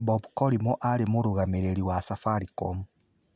Bob Colimore aarĩ mũrũgamĩrĩri wa Safaricom.